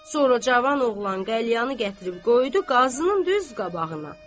Sonra cavan oğlan qəlyanı gətirib qoydu Qazının düz qabağına.